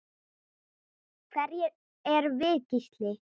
Hverjir erum við Gísli?